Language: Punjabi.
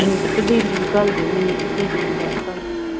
ਮੈਨੂੰ ਤੇ ਦੀਦੀ ਨੂੰ ਘੱਲ ਦੋ ਮੈਨੂੰ ਤੇ ਦੀਦੀ ਨੂੰ ਬਾਹਰ ਘੱਲ ਦੋ।